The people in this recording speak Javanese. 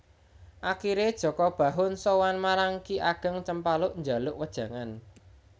Akhire Jaka Bahu sowan marang Ki Ageng Cempaluk njaluk wejangan